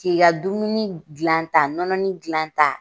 K'i ka dumuni dilanta nɔnɔnin gilanta.